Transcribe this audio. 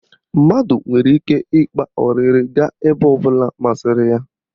Mmadụ nwere ike ịkpa ọrịrị gaa ebe ọ bụla masịrị ya.